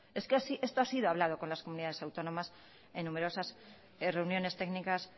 es que esto ha sido hablado con las comunidades autónomas en numerosas reuniones técnicas